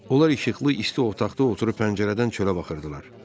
Onlar işıqlı, isti otaqda oturub pəncərədən çölə baxırdılar.